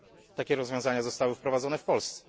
Takie rozwiązania zostały wprowadzone w Polsce.